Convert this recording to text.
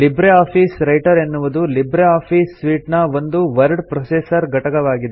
Libre office writer ಎನ್ನುವುದು LibreOffice suite ನ ಒಂದು ವರ್ಡ್ ಪ್ರೊಸೆಸರ್ ಘಟಕವಾಗಿದೆ